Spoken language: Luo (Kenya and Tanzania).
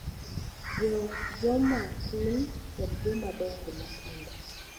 Jo joma tin kod jomadongo matindo